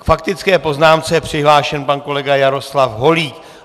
K faktické poznámce je přihlášen pan kolega Jaroslav Holík.